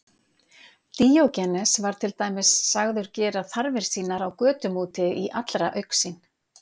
Díógenes var til dæmis sagður gera þarfir sínar á götum úti í allra augsýn.